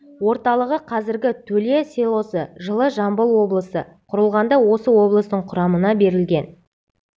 орталығы қазіргі төле селосы жылы жамбыл облысы құрылғанда осы облыстың құрамына берілген